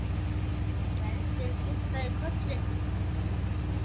Gerður kinkaði kolli.